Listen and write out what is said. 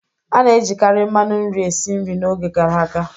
A na-ejikarị mmanu nri esi nri n'oge gara aga.